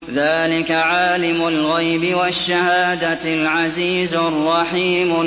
ذَٰلِكَ عَالِمُ الْغَيْبِ وَالشَّهَادَةِ الْعَزِيزُ الرَّحِيمُ